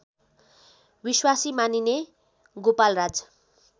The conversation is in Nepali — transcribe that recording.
विश्वासी मानिने गोपालराज